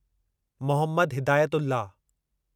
Mohammad Hidayatullah